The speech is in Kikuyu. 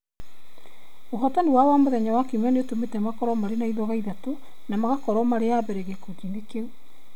Ũhootani wao wa mũthenya wa Kiumia nĩ ũmatũmĩte makorũo na ithoga ithatũ na magakorũo marĩ a mbere gĩkundi-inĩ kĩu.